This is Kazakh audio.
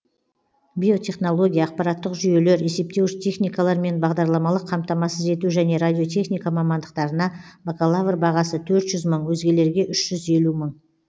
биотехнология ақпараттық жүйелер есептеуіш техникалар мен бағдарламалық қамтамасыз ету және радиотехника мамандықтарына бакалавр бағасы төрт жүз мың өзгелерге үш жүз елу мың